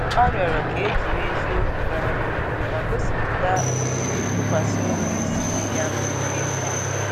Ọ rịọrọ ka e jiri eziokwu gawa n’ihu ma gosipụta otú ntụkwasị obi si dị ya oke mkpa